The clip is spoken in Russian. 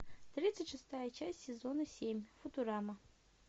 тридцать шестая часть сезона семь футурама